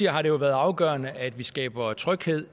har det været afgørende at vi skaber tryghed